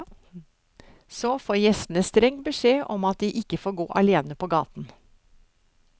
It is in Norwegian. Så får gjestene streng beskjed om at de ikke får gå alene på gaten.